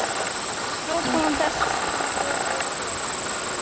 Og nú kom þessi sama gusa út úr honum aftur.